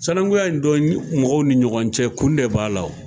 Sanakunya in don mɔgɔw ni ɲɔgɔn cɛ kun de b'a la wo.